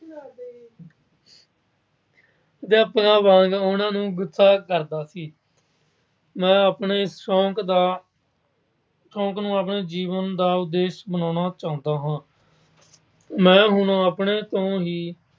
ਅਧਿਆਪਕਾਂ ਵਾਂਗ ਉਹਨਾਂ ਨੂੰ ਗੁੱਸਾ ਕਰਦਾ ਸੀ। ਮੈਂ ਆਪਣੇ ਸ਼ੌਕ ਦਾ ਸ਼ੌਕ ਨੂੰ ਆਪਣੇ ਜੀਵਨ ਦਾ ਉਦੇਸ਼ ਬਣਾਉਣਾ ਚਾਹੁੰਦਾ ਹਾਂ। ਮੈਂ ਹੁਣ ਆਪਣੇ ਤੋਂ ਹੀ